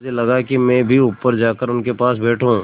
मुझे लगा कि मैं भी ऊपर जाकर उनके पास बैठूँ